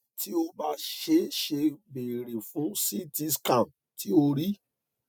ti o ba ṣee ṣe beere fun ct scan ti ori